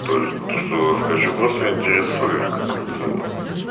тоже что заскочу просто интересуюсь как это